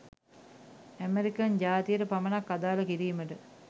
American ජාතියට පමණක් අදාල කිරීමට